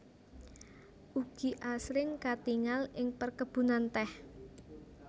Ugi asring katingal ing perkebunan teh